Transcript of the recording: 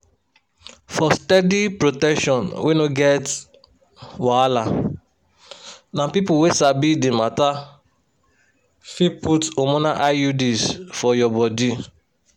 for steady protection wey no get wahala na people wey sabi the matter fit put hormonal iuds for your body.